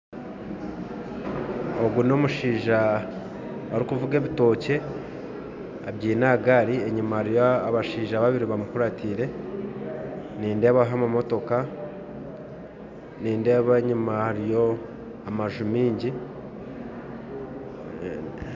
Ogu nomushaija arikuvuga ebitookye abyaine ahagari, enyima hariyo abashaija babiri bamukuratire nindeebaho amamootika, nindeeba enyima hariyo amaju maingi